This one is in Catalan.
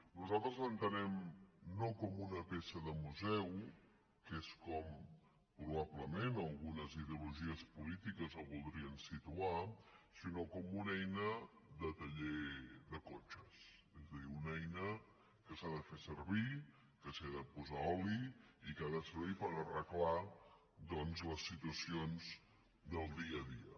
nosaltres l’entenem no com una peça de museu que és com probablement algunes ideologies polítiques el voldrien situar sinó com una eina de taller de cotxes és a dir una eina que s’ha de fer servir que s’hi ha de posar oli i que ha de servir per arreglar doncs les situacions del dia a dia